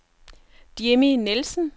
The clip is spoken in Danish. Jimmy Nielsen